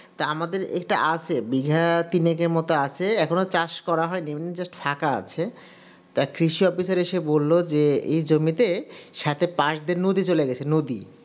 তা আমাদের এটা আছে বিঘা তিনেকের মত আছে এখনো চাষ করা হয়নি এমনি ফাঁকা আছে তা কৃষি officer এসে বলল যে এই জমিতে সাথে পাশ দিয়ে নদী চলে গেছে নদী